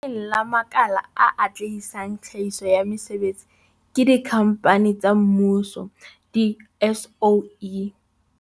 Le leng la makala a atlehisang tlhahiso ya mesebetsi ke dikhampani tsa mmuso di-SOE.